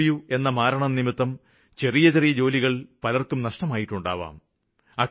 interview എന്ന മാരണം നിമിത്തം ചെറിയ ചെറിയ ജോലികള് പലര്ക്കും നഷ്ടമായിട്ടുണ്ടാവാം